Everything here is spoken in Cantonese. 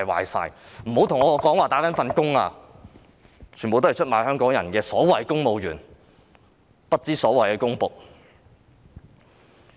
別跟我說他們只是"打份工"，他們全都是出賣香港人的所謂公務員、不知所謂的公僕。